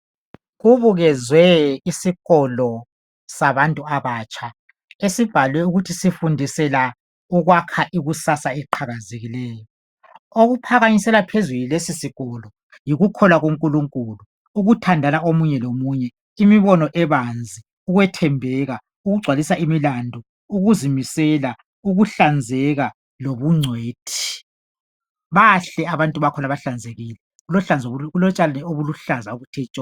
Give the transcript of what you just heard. Kubukezwe isikolo sabantu abatsha esibhalwe ukuthi sifundisela ukwakha ikusasa eliqhakazekileyo. Okuphakanyiselwa phezulu yilesi sikolo yikukholwa kuNkulunkulu, ukuthandana komunye lomunye, imibono ebanzi, ukwethembeka, ukugcwalisa imilando, ukuzimisela, ukuhlanzeka lobungcwethi. Bahle abantu bakhona bahlanzekile, kulotshani obuluhlaza obuthe tshoko.